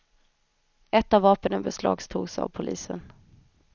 Ett av vapnen beslagtogs av polisen.